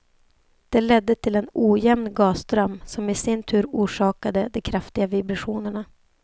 Det ledde till en ojämn gasström, som i sin tur orsakade de kraftiga vibrationerna.